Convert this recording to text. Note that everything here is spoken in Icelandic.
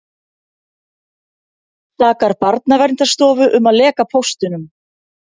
Sakar Barnaverndarstofu um að leka póstunum